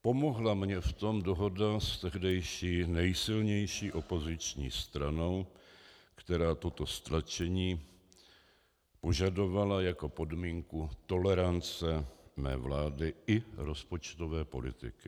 Pomohla mně v tom dohoda s tehdejší nejsilnější opoziční stranou, která toto stlačení požadovala jako podmínku tolerance mé vlády i rozpočtové politiky.